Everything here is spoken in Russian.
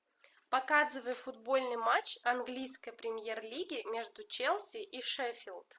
показывай футбольный матч английской премьер лиги между челси и шеффилд